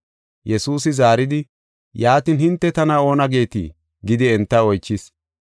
Yesuusi zaaridi, “Yaatin, hinte tana oona geetii?” gidi enta oychis.